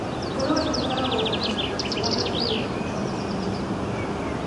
Ngũrũwe ĩkoragwo na nyama njega na ĩrĩ na proteini nyingĩ.